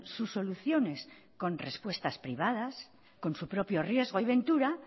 sus soluciones con respuestas privadas con su propio riesgo y ventura